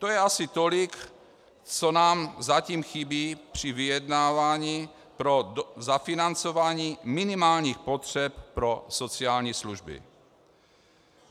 To je asi tolik, co nám zatím chybí při vyjednávání pro zafinancování minimálních potřeb pro sociální služby.